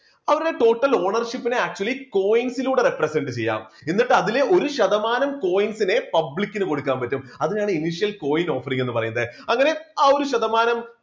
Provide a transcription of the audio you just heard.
അവരുടെ total ownership നെ actually coins സിലൂടെ repersent ചെയ്യാം. എന്നിട്ട് അതിലെ ഒരു ശതമാനം coins നെ public ന് കൊടുക്കാൻ പറ്റും അതിനാണ് coin offering എന്ന് പറയുന്നത് അങ്ങനെ ആ ഒരു ശതമാനം